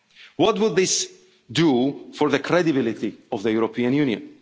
one year budget? What would this do for the credibility of the